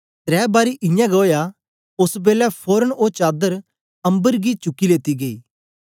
त्रै बारी इयां गै ओया ओस बेलै फोरन ओ चादर अम्बर गी चुकी लेती गेई